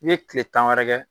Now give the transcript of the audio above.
I ye kile tan wɛrɛ kɛ.